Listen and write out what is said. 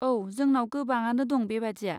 औ, जोंनाव गोबाङानो दं बेबादिया।